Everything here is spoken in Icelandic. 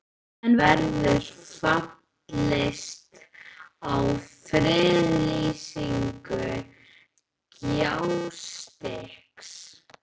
En verður fallist á friðlýsingu Gjástykkis?